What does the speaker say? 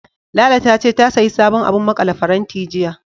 Lala ta ce, ta sayi sabon abun maƙale faranti, jiya.